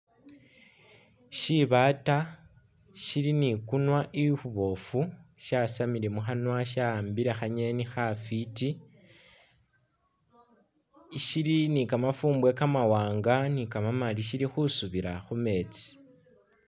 Shibaata shili ikunwa ikhuboofu shasamile mukhanwa shawambile khangeni khafwiti, shili ne kamafumbwe kamawanga ne kamamali shili khusubiila khumeetsi.